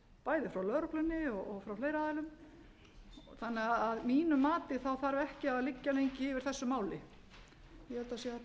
bæði frá lögreglunni og frá fleiri aðilum þannig að mínu mati þarf ekki að liggja lengi yfir þessu máli ég held